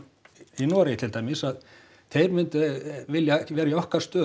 í Noregi til dæmis að þeir myndu vilja vera í okkar stöðu